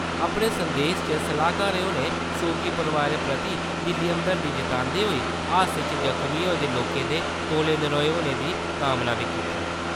अपने संदेस च सलाहकार होरें सोगी परोआरें प्रति दिली हमदर्दी जतांदे होई हादसे च जख्मी होए दे लोकें दे तौले नरोए होने दी कामना बी कीती।